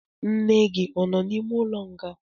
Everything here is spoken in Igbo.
Nne gi anọ n'ime ụlọ nga?